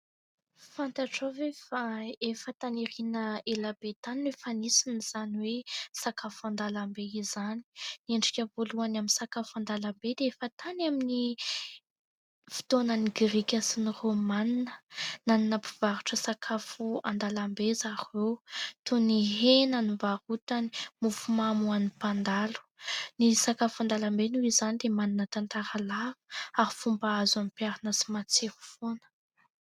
Fantatrao ve fa efa tany aoriana elabe tany no efa nisy izany hoe sakafo andalambe izany. Endrika voalohany amin'ny sakafo andalambe dia efa tany amin'ny fotoanan'ny grika sy ny rômanina. Nanana mpivarotra sakafo andalambe zareo toy ny hena no varotany, mofomamy ho an'ny mpandalo. Ny sakafo andalambe noho izany dia manana tantara lava ary fomba azo apiharina sy matsiro foana.